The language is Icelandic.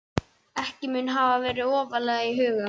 Ekki mun hafa verið ofarlega í huga